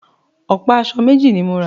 Ọ̀pá aṣọ méjì ni mo rà